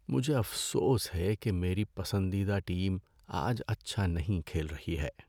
مجھے افسوس ہے کہ میری پسندیدہ ٹیم آج اچھا نہیں کھیل رہی ہے۔